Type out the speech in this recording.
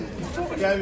Dəmir ödəyirəm.